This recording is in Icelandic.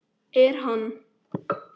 Er hann.